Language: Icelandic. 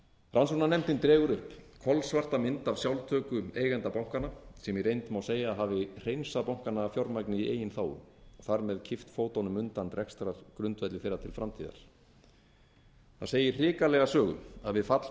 rannsóknarnefndin dregur upp kolsvarta mynd af sjálftöku eigendenda bankanna sem í reynd má segja að hafi hreinsað bankana af fjármagni í eigin þágu þar með kippt fótunum undan rekstrargrundvelli þeirra til framtíðar það segir hrikalega sögu að við fall